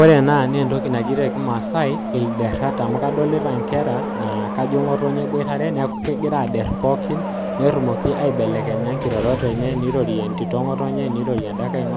Ore ena naa keji te kimaasai ilderat amu kadoolta ajo egira nkera airoro peyie etumoki airoro entito ngotonye nirorie lenkae